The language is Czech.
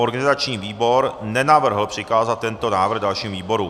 Organizační výbor nenavrhl přikázat tento návrh dalším výborům.